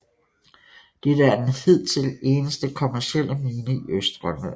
Dette er den hidtil eneste kommercielle mine i Østgrønland